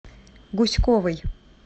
гуськовой